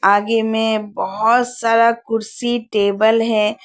आगे में बहोत सारा कुर्सी टेबल है।